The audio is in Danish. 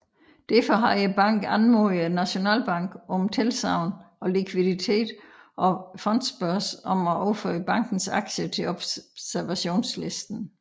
Derfor havde banken anmodet Nationalbanken om tilsagn om likviditet og Fondsbørsen om at overføre bankens aktier til observationslisten